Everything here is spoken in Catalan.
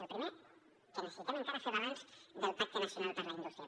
la primera que necessitem encara fer balanç del pacte nacional per a la indústria